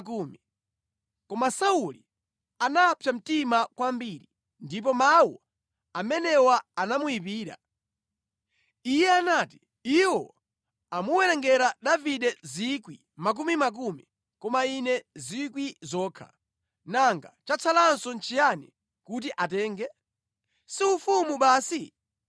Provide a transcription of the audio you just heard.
Koma Sauli anapsa mtima kwambiri ndipo mawu amenewa anamuyipira. Iye anati, “Iwo amuwerengera Davide miyandamiyanda, koma ine 1,000 okha. Nanga chatsalanso nʼchiyani kuti atenge? Si ufumu basi?”